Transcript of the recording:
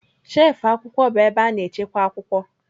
Shelfụ akwụkwọ bụ ebe a na-echekwa akwụkwọ.